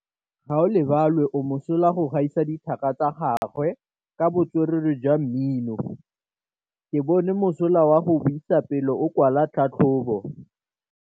Gaolebalwe o mosola go gaisa dithaka tsa gagwe ka botswerere jwa mmino. Ke bone mosola wa go buisa pele o kwala tlhatlhobô.